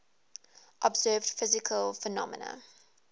observed physical phenomena